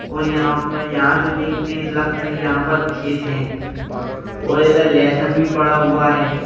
और यहां पर यहां से देखते है तो लगता है यहां पर खेत है और इधर लेहसन भी पड़ा हुआ है।